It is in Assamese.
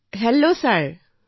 নমস্কাৰ নমস্তে ছাৰ